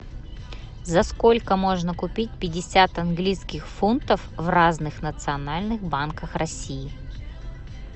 за сколько можно купить пятьдесят английских фунтов в разных национальных банках россии